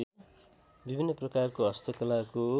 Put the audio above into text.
विभिन्न प्रकारको हस्तकलाको